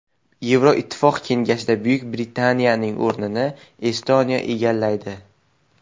Yevroittifoq Kengashida Buyuk Britaniyaning o‘rnini Estoniya egallaydi.